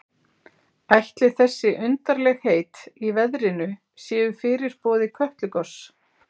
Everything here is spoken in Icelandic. Ætli þessi undarlegheit í veðrinu séu fyrirboði Kötlugoss?